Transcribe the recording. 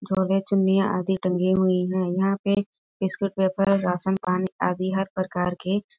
जोड़े चुन्नियाँ आदि टंगी हुई है यहां पे टिश्यू पेपर रासन पानी आदि हर प्रकार के --